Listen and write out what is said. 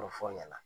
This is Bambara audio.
fɔ ɲɛna